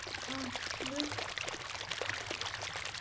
ஏன நாங்க உங்கள free தான் படிக்க வைக்கலான்ட்டு இருக்கோம்